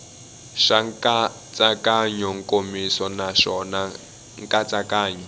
swa nkatsakanyo nkomiso naswona nkatsakanyo